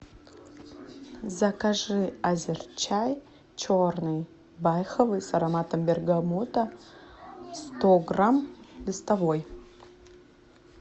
закажи азерчай черный байховый с ароматом бергамота сто грамм листовой